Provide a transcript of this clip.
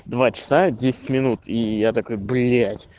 два часа десять минут и я такой блять